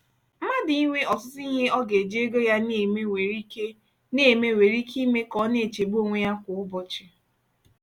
mmadụ inwe ọtụtụ ihe ọ ga-eji ego ya na-eme nwere ike na-eme nwere ike ime ka ọ na-echegbu onwe ya kwa ụbọchị.